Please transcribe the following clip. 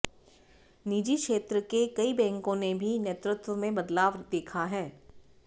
निजी क्षेत्र के कई बैंकों ने भी नेतृत्व में बदलाव देखा है